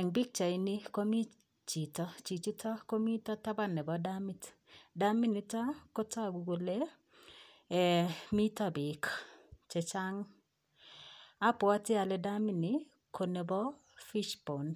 En pichait nii komii chito, chichiton komii taban nebo damit , damit nito kotogu kole um miito beek chechang, abwote olee daminii ko nebo fish bond